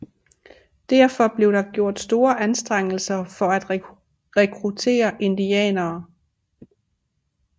Derfor blev der gjort store anstrengelser for at rekruttere indianere